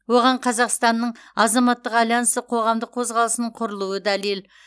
оған қазақстанның азаматтық альянсы қоғамдық қозғалысының құрылуы дәлел